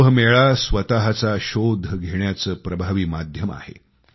कुंभमेळा स्वतःचा शोध घेण्याचं प्रभावी माध्यम आहे